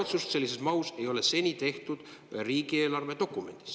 Seda otsust sellises mahus ei ole seni riigieelarve dokumendis tehtud.